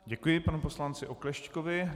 Děkuji panu poslanci Oklešťkovi.